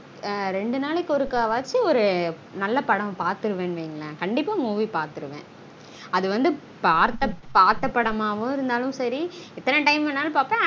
ஆஹ் ரெண்டு நாளைக்கு ஒருக்க வாச்சு ஒரு நல்ல படம் பாத்துருவன் வைங்கலன் கண்டீப்பா movie பாத்துருவன் அது வந்து பார்த்த பார்த்த படமா இருந்தாலும் சரி எத்தனை time வேணாலும் பாப்பன்